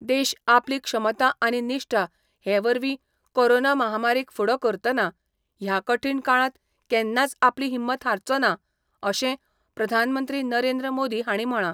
देश आपली क्षमता आनी निष्ठा हे वरवी कोरोना महामारीक फुडो करतना, ह्या कठीण काळात केन्नाच आपली हिंमत हारचो ना, अशे प्रधानमंत्री नरेंद्र मोदी हाणी म्हळा.